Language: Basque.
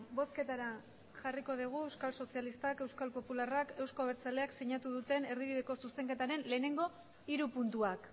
bozketara jarriko dugu euskal sozialistak euskal popularrak euzko abertzaleak sinatu duten erdibideko zuzenketaren lehenengo hiru puntuak